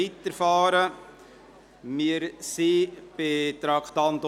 Wir befinden uns beim Traktandum 53.